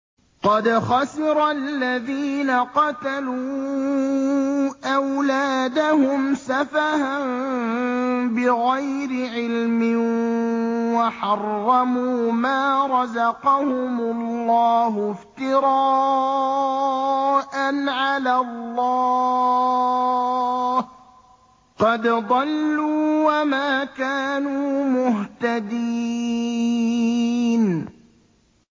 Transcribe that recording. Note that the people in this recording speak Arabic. قَدْ خَسِرَ الَّذِينَ قَتَلُوا أَوْلَادَهُمْ سَفَهًا بِغَيْرِ عِلْمٍ وَحَرَّمُوا مَا رَزَقَهُمُ اللَّهُ افْتِرَاءً عَلَى اللَّهِ ۚ قَدْ ضَلُّوا وَمَا كَانُوا مُهْتَدِينَ